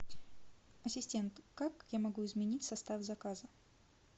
ассистент как я могу изменить состав заказа